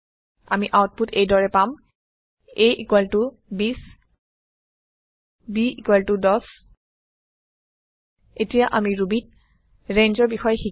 আমি আওতপুত এই দৰে পাম a২০ b১০ এতিয়া আমি Rubyত rangeবিস্তাৰৰ বিষয়ে শিকিম